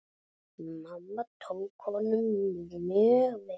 Mamma tók honum mjög vel.